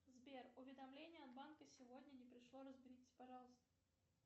сбер уведомление от банка сегодня не пришло разберитесь пожалуйста